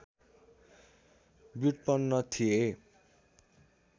व्युत्पन्न थिए